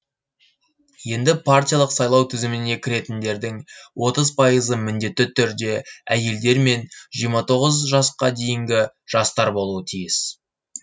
енді партиялық сайлау тізіміне кіретіндердің пайызы міндетті түрде әйелдер мен жасқа дейінгі жастар болуы тиіс